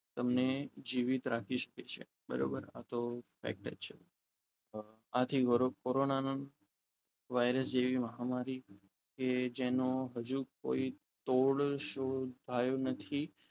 તમને જીવિત રાખી શકે છે બરોબર આ તો છે આથી કોરોના નો વાયરસ જેવી મહામારી કે જેનો હજુ કોઈ તોડ શોધાયો નથી